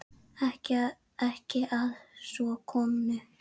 Ekki að svo komnu.